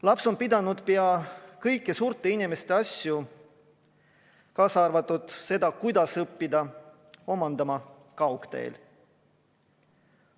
Laps on pidanud pea kõiki suurte inimeste asju, kaasa arvatud seda, kuidas õppida, omandama kaugteel.